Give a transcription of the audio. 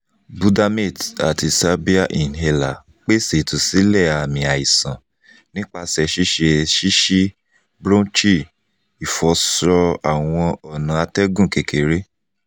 budamate ati salbair inhaler pese itusilẹ aami aisan nipa ṣiṣe shishi-bronchi (ifọṣọ awọn ọna atẹgun kekere)